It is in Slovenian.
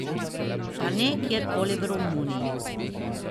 Pa ne kjerkoli v Romuniji.